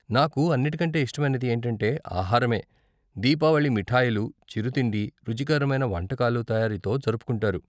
నాకు అన్నిటి కంటే ఇష్టమైనది ఏంటంటే ఆహారమే. దీపావళి మిఠాయిలు, చిరుతిండి, రుచికరమైన వంటకాల తయారీతో జరుపుకుంటారు.